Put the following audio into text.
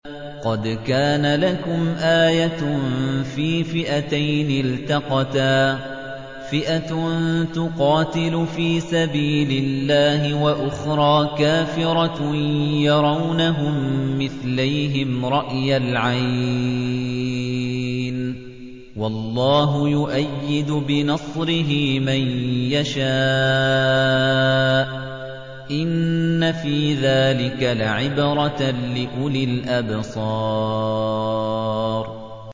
قَدْ كَانَ لَكُمْ آيَةٌ فِي فِئَتَيْنِ الْتَقَتَا ۖ فِئَةٌ تُقَاتِلُ فِي سَبِيلِ اللَّهِ وَأُخْرَىٰ كَافِرَةٌ يَرَوْنَهُم مِّثْلَيْهِمْ رَأْيَ الْعَيْنِ ۚ وَاللَّهُ يُؤَيِّدُ بِنَصْرِهِ مَن يَشَاءُ ۗ إِنَّ فِي ذَٰلِكَ لَعِبْرَةً لِّأُولِي الْأَبْصَارِ